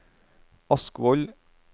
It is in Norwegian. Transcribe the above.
Askvoll